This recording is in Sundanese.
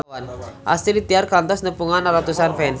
Astrid Tiar kantos nepungan ratusan fans